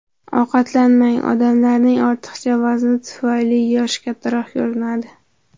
Ovqatlanmang Odamlarning ortiqcha vazni tufayli yoshi kattaroq ko‘rinadi.